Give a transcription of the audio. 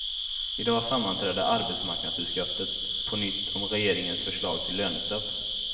I dag sammanträder arbetsmarknadsutskottet på nytt om regeringens förslag till lönestopp.